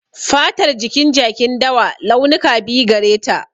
Fatar jikin jakin dawa, launuka biyu gare ta.